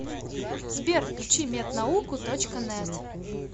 сбер включи мед науку точка нэт